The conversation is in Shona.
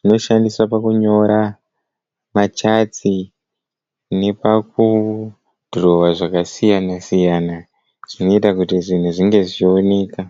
Anoshandiswa pakunyora machati nepakudhurowa zvakasiyana-siyana zvinoita kuti zvinhu zvinge zvichioneka.